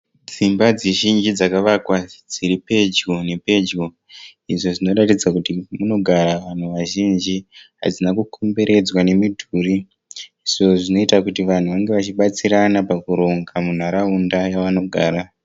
Dzimba dzizhinji dzakavakwa dziri pedyo nepedyo izvo zvinoratidza dzinogara vanhu vazhjinji, hadzina kukomberedzwa nemidhuri izvo zvinoita vanhu vange vachibatsirana kuronga munharaunda yavanogara.